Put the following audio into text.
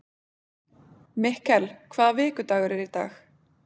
Mikkel, hvaða vikudagur er í dag?